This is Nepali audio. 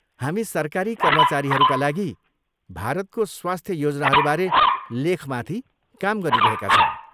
हामी सरकारी कर्मचारीहरूका लागि भारतको स्वास्थ्य योजनाहरूबारे लेखमाथि काम गरिरहेका छौँ।